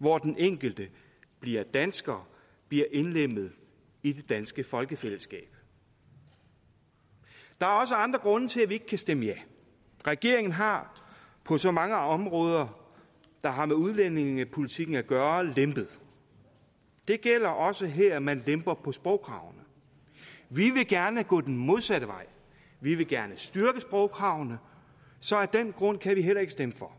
hvor den enkelte bliver dansker bliver indlemmet i det danske folkefællesskab der er også andre grunde til at vi ikke kan stemme ja regeringen har på så mange områder der har med udlændingepolitikken at gøre lempet det gælder også her hvor man lemper på sprogkravene vi vil gerne gå den modsatte vej vi vil gerne styrke sprogkravene så af den grund kan vi heller ikke stemme for